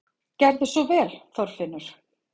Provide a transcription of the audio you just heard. Gerðu svo vel, Þorfinnur!